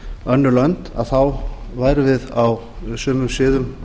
önnur lönd værum við á sumum sviðum